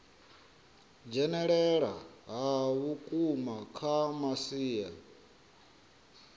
dzhenelela ha vhukuma kha masia